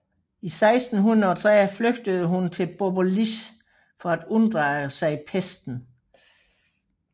I 1630 flygtede hun til Bobolice for at unddrage sig pesten